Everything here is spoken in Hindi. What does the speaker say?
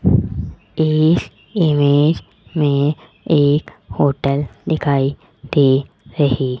इस इमेज में एक होटल दिखाई दे रही --